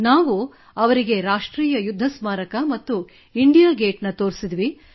ನಾವು ಅವರಿಗೆ ರಾಷ್ಟ್ರೀಯ ಯುದ್ಧ ಸ್ಮಾರಕ ಮತ್ತು ಇಂಡಿಯಾ ಗೇಟ್ ತೋರಿಸಿದೆವು